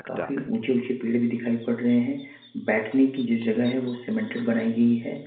काफी ऊंचे ऊंचे पर भी दिखाई दे रहे हैं बैठने की जगह है वह सीमेंट बनाई गई है।